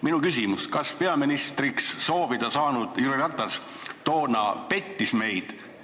Minu küsimus on: kas peaministriks saada soovinud Jüri Ratas toona pettis meid?